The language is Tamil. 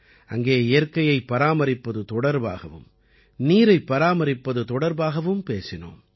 அங்கே இயற்கையைப் பராமரிப்பது தொடர்பாகவும் நீரைப் பராமரிப்பது தொடர்பாகவும் பேசினோம்